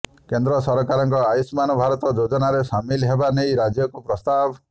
କେନ୍ଦ୍ର ସରକାରଙ୍କ ଆୟୁଷ୍ମାନ ଭାରତ ଯୋଜନାରେ ସାମିଲ ହେବା ନେଇ ରାଜ୍ୟକୁ ପ୍ରସ୍ତାବ